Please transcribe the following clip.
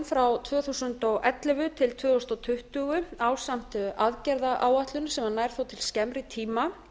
frá tvö þúsund og ellefu til tvö þúsund tuttugu ásamt aðgerðaáætlun sem nær svo til skemmri tíma